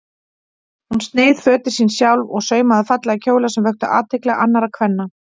Hún sneið fötin sín sjálf og saumaði fallega kjóla sem vöktu athygli annarra kvenna.